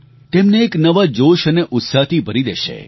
તેમને એક નવા જોશ અને ઉત્સાહથી ભરી દેશે